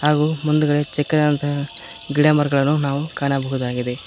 ಹಾಗು ಮುಂದ್ಗಡೆ ಚಿಕ್ಕದಾದಂತ ಗಿಡಮರಗಳನ್ನು ನಾವು ಕಾಣಬಹುದಾಗಿದೆ.